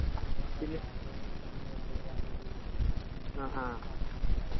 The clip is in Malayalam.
ഇപ്പൊ നമ്മുടെ കാസർഗോഡ് മുതൽ കന്യാകുമാരി വരാണെങ്കിൽ എത്രപോരം ഭക്ഷണം അല്ലെ